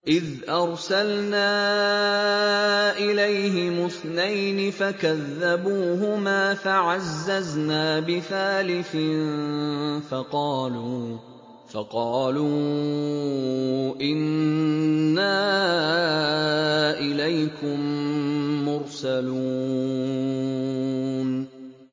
إِذْ أَرْسَلْنَا إِلَيْهِمُ اثْنَيْنِ فَكَذَّبُوهُمَا فَعَزَّزْنَا بِثَالِثٍ فَقَالُوا إِنَّا إِلَيْكُم مُّرْسَلُونَ